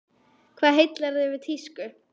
Hvað heillar þig við tísku?